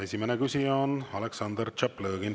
Esimene küsija on Aleksandr Tšaplõgin.